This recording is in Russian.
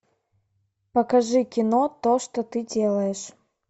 покажи кино то что ты делаешь